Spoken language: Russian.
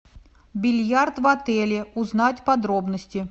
бильярд в отеле узнать подробности